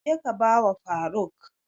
Je ka ba wa faruk!